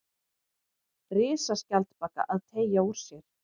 Risaskjaldbaka að teygja úr sér.